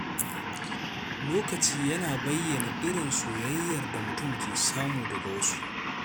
Lokaci yana bayyana irin soyayyar da mutum ke samu daga wasu.